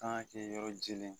k'an kɛ yɔrɔ jɛlen ye.